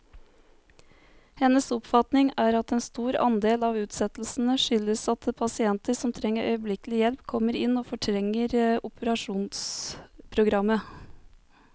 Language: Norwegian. Hennes oppfatning er at en stor andel av utsettelsene skyldes at pasienter som trenger øyeblikkelig hjelp, kommer inn og fortrenger operasjonsprogrammet.